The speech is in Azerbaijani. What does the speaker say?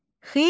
Xizək.